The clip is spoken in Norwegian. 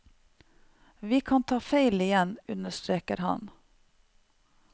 Vi kan ta feil igjen, understreker han.